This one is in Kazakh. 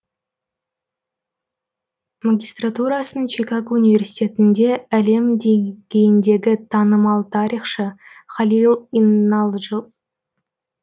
магистратурасын чикаго университетінде әлем дейгейінде танымал тарихшы халил иналджыл